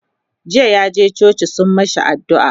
jiya yaje coci sun mashi addu'a